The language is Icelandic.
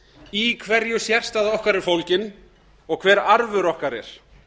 í hverju sérstaða okkar er fólgin og hver arfur okkar er